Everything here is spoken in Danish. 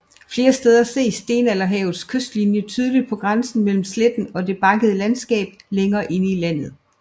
Flere steder ses stenalderhavets kystlinie tydeligt på grænsen mellem sletten og det bakkede landskab længere inde i landet